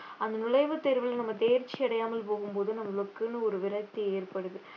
அந்த நுழைவு தேர்வுல நம்ம தேர்ச்சி அடையாமல் போகும்போது நம்மளுக்குன்னு ஒரு விரக்தி ஏற்படுது